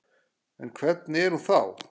En hvernig er hún þá?